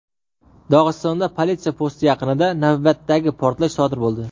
Dog‘istonda politsiya posti yaqinida navbatdagi portlash sodir bo‘ldi.